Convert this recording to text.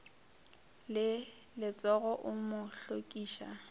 le letsogo o mo hlokiša